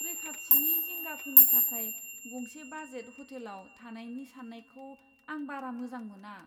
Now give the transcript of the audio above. रैखाथिनि जिंगाफोरनि थाखाय गंसे बाजेट हटेलाव थानायनि साननायखौ आं बारा मोजां मोना।